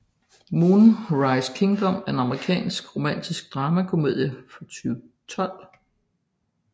Moonrise Kingdom er en amerikansk romantisk dramakomedie fra 2012